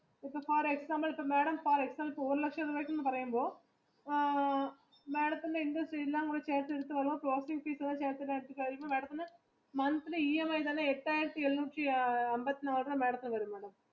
ഇപ്പൊ example four ലക്ഷത്തിന് എന്ന് പറയുമ്പോൾ madam ത്തിന്റെ interest എല്ലാം ചേർത്ത് വരുമ്പോൾ madam ത്തിന് monthly EMI